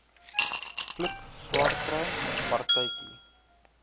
vloek swaarkry partytjie